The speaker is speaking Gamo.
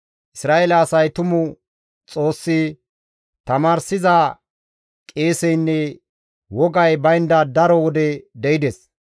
Isra7eele asay tumu Xoossi, tamaarsi qeeseynne wogay baynda daro wode de7ides.